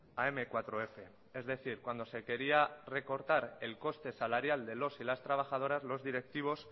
a eme cuatro efe es decir cuando se quería recortar el coste salarial de los y las trabajadoras los directivos